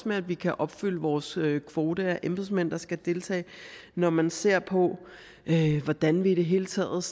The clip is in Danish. med at vi kan opfylde vores kvote af embedsmænd der skal deltage når man ser på hvordan vi i det hele taget